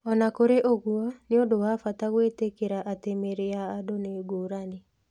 O na kũrĩ ũguo, nĩ ũndũ wa bata gwĩtĩkĩra atĩ mĩĩrĩ ya andũ nĩ ngũrani.